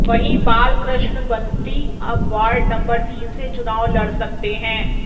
वहीं बाल कृष्ण बंटी अब ward number तीन से चुनाव लड़ सकते हैं